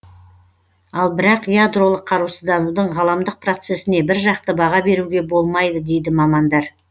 ал бірақ ядролық қарусызданудың ғаламдық процесіне біржақты баға беруге болмайды дейді мамандар